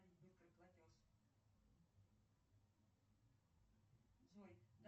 афина я сегодня проснулся в восемь ноль ноль разбуди меня завтра в такое же время